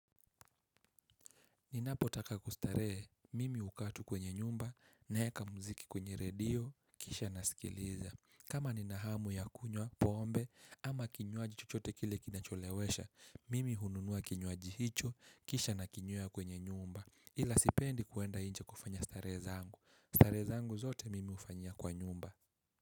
Ninapotaka kustarehe, mimi hukaa tu kwenye nyumba, naeka muziki kwenye redio, kisha nasikiliza. Kama nina hamu ya kunywa, pombe, ama kinywaji chochote kile kinacholewesha, mimi hununua kinywaji hicho, kisha na kinywea kwenye nyumba. Ila sipendi kwenda nje kufanya starehe zangu, starehe zangu zote mimi hufanyia kwa nyumba.